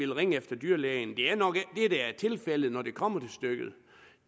ringe efter dyrlægen det er nok ikke tilfældet når det kommer stykket